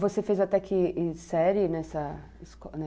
Você fez até que série nessa escola?